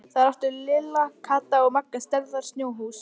Þar áttu Lilla, Kata og Magga stærðar snjóhús.